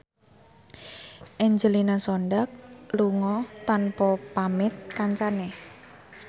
Angelina Sondakh lunga tanpa pamit kancane